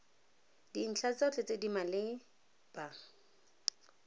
dintlha tsotlhe tse di maleba